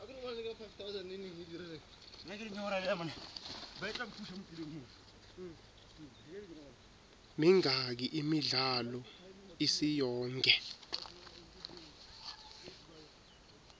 mingaki imidlalo isiyonke